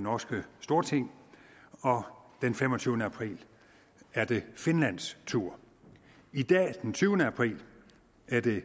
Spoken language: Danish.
norske storting og den femogtyvende april er det finlands tur i dag den tyvende april er det